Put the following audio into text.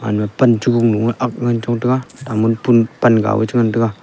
pan chu lu lu ai ngan chong taiga pan ga ngan taiga.